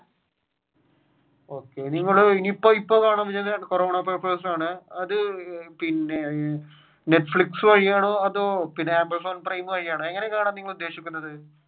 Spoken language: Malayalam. okay ഇനി നിങ്ങൾ ഇപ്പൊ കാണാം കൊറോണ പേപ്പർസ് ആണ് അത് പിന്നെ netflix വഴിയാണോ അതോ പിന്നെ വഴി amazon prime ആണോ എങ്ങനെയാണ് കാണാൻ നിങ്ങൾ ഉദ്ദേശിക്കുന്നത്.